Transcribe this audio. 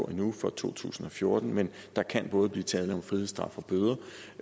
endnu for to tusind og fjorten men der kan både blive tale om frihedsstraf og bøder